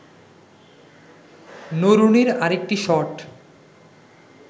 নরুনির আরেকটি শট